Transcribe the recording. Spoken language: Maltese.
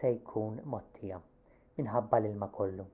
se jkun mgħottija-minħabba l-ilma kollu